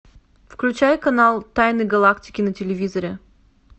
включай канал тайны галактики на телевизоре